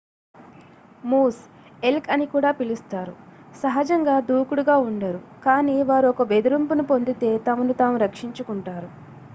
Moose elk అని కూడా పిలుస్తారు సహజంగా దూకుడుగా ఉండరు కానీ వారు ఒక బెదిరింపును పొందితే తమను తాము రక్షించుకుంటారు